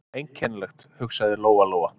Einkennilegt, hugsaði Lóa-Lóa.